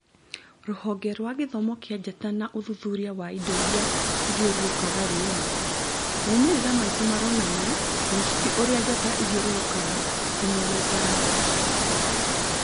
Rũgonge rwa gĩthomo kĩa njata na ũthuthuria wa indo iria ithiũrũrũkĩirie riũa, "maumĩrĩra maitũ maronania mũcibi ũria njata ithiũrũrũkagĩra ti mũrũngarũ